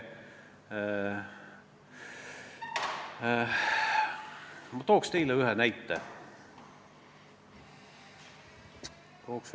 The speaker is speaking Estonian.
Ma toon teile ühe näite.